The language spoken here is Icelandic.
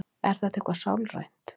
er þetta eitthvað sálrænt